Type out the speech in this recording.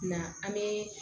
Na an bɛ